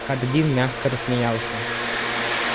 хардин мягко рассмеялся